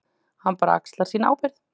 Hann bara axlar sína ábyrgð.